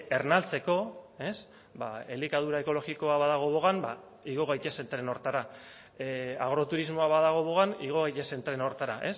ernaltzeko ba elikadura ekologikoa badago bogan ba igo gaitezen tren horretara agroturismoa badago bogan igo gaitezen tren horretara